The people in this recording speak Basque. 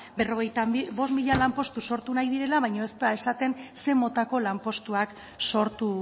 berrogeita bost mila lanpostu sortu nahi direla baina ez da esaten zein motako lanpostuak sortu